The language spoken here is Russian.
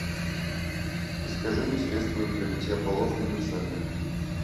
закажи мне средство для мытья полов универсальное